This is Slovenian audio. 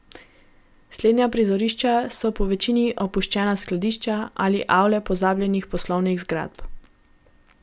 Slednja prizorišča so povečini opuščena skladišča ali avle pozabljenih poslovnih zgradb.